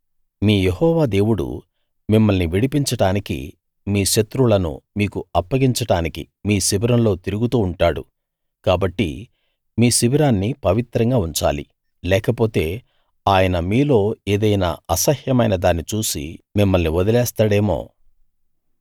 మీ యెహోవా దేవుడు మిమ్మల్ని విడిపించడానికి మీ శత్రువులను మీకు అప్పగించడానికి మీ శిబిరంలో తిరుగుతూ ఉంటాడు కాబట్టి మీ శిబిరాన్ని పవిత్రంగా ఉంచాలి లేకపోతే ఆయన మీలో ఏదైనా అసహ్యమైన దాన్ని చూసి మిమ్మల్ని వదిలేస్తాడేమో